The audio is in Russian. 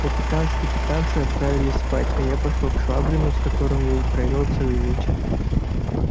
капитан с капитаншею отправились спать а я пошёл к швабрину с которым я и провёл целый вечер